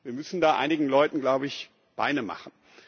Wir müssen da einigen Leuten, glaube ich, Beine machen.